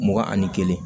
Mugan ani kelen